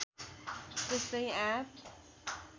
त्यस्तै आँप